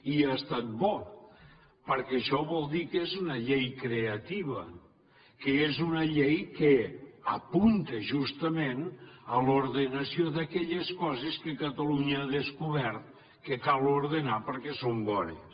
i ha estat bo perquè això vol dir que és una llei creativa que és una llei que apunta justament a l’ordenació d’aquelles coses que catalunya ha descobert que cal ordenar perquè són bones